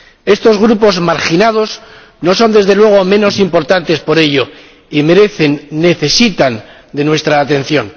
Estos grupos marginados no son, desde luego, menos importantes por ello y merecen y necesitan, nuestra atención.